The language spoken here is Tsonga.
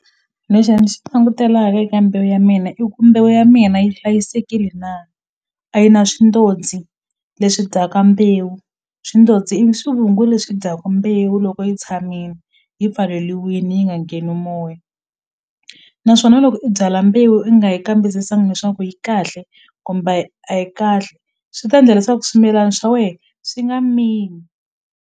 Lexi ni xi langutelaka eka mbewu ya mina i ku mbewu ya mina yi hlayisekile na a yi na swindozi leswi dyaka mbewu swindozi i swivungu leswi dyaka mbewu loko yi tshamini yi pfaleliwini yi nga ngheni moya naswona loko i byala mbewu i nga yi kambisisanga leswaku yi kahle kumbe a yi a yi kahle swi ta endla leswaku swimilana swa we swi nga mili.